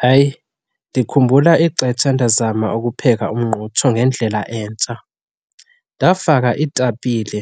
Hayi, ndikhumbula ixetsha ndazama ukupheka umngqutsho ngendlela entsha. Ndafaka iitapile